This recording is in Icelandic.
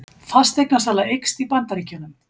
Fasteignasala eykst í Bandaríkjunum